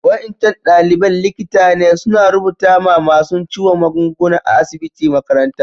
Wa'incan dalibain likita ne suna rubuta ma masun ciwo magunguna a'asibitin makarantan.